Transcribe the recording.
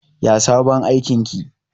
Yaya sabon aikin ki?